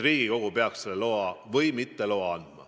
Riigikogu peaks otsustama, kas see luba antakse või mitte.